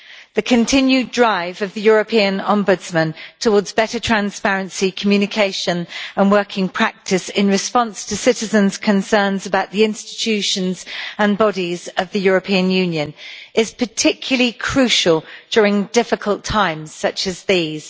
The continued drive of the European Ombudsman towards better transparency, communication and working practice in response to citizens' concerns about the institutions and bodies of the European Union is particularly crucial during difficult times such as these.